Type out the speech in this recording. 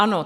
Ano.